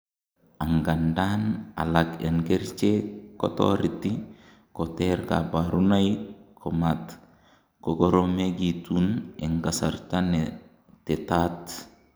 angandan, alak en kerichek kotoreti koter kaborunoik komat kokoromegitun en kasarta netetat